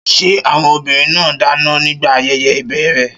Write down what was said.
Ṣé àwọn obìnrin náà dáná nígbà ayẹyẹ ìbẹ̀rẹ̀?